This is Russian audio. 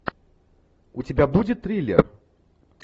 у тебя будет триллер